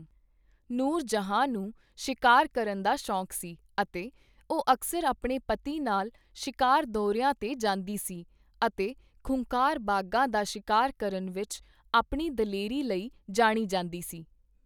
ਨੂਰ ਜਹਾਂ ਨੂੰ ਸ਼ਿਕਾਰ ਕਰਨ ਦਾ ਸ਼ੌਕ ਸੀ ਅਤੇ ਉਹ ਅਕਸਰ ਆਪਣੇ ਪਤੀ ਨਾਲ ਸ਼ਿਕਾਰ ਦੌਰਿਆਂ 'ਤੇ ਜਾਂਦੀ ਸੀ ਅਤੇ ਖੂੰਖਾਰ ਬਾਘਾਂ ਦਾ ਸ਼ਿਕਾਰ ਕਰਨ ਵਿੱਚ ਆਪਣੀ ਦਲੇਰੀ ਲਈ ਜਾਣੀ ਜਾਂਦੀ ਸੀ।